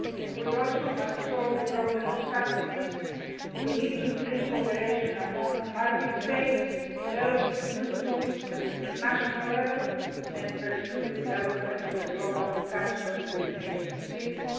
We must also solve the problem of subsidies. We need to increase cooperation among market States, develop new tools at international level, and pursue the development of a global catch documentation system.